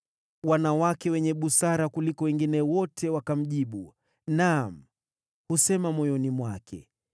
Wanawake wenye busara kuliko wengine wote wakamjibu; naam, husema moyoni mwake,